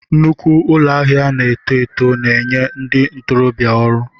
Nnukwu ụlọ ahịa na-eto eto na-enye ndị ntorobịa ọrụ.